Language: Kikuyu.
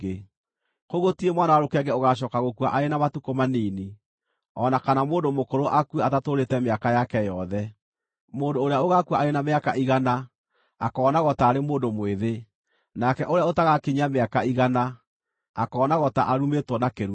“Kũu gũtirĩ mwana wa rũkenge ũgaacooka gũkua arĩ na matukũ manini, o na kana mũndũ mũkũrũ akue atatũũrĩte mĩaka yake yothe; mũndũ ũrĩa ũgaakua arĩ na mĩaka igana akoonagwo taarĩ mũndũ mwĩthĩ; nake ũrĩa ũtagaakinyia mĩaka igana akoonagwo ta arumĩtwo na kĩrumi.